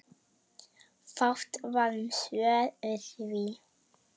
Fátt var um svör við því.